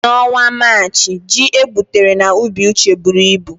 N'ọnwa Maachị, ji egbutere n'ubi Uche buru ibu.